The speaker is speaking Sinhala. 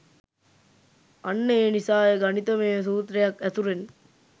අන්න ඒ නිසාය ගණිතමය සුත්‍රයක් ඇසුරෙන්